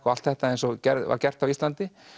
og allt þetta eins og var gert á Íslandi